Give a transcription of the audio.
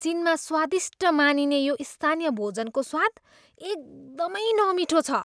चिनमा स्वादिष्ट मानिने यो स्थानीय भोजनको स्वाद एकदमै नमिठो छ।